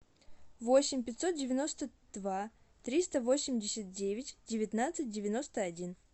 восемь пятьсот девяносто два триста восемьдесят девять девятнадцать девяносто один